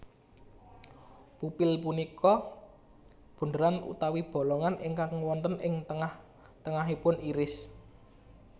Pupil punika bunderan utawi bolongan ingkang wonten ing tengah tengahipun iris